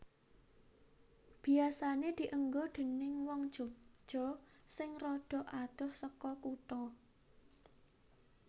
Biasané dienggo déning wong Yogya sing rada adoh seka kutha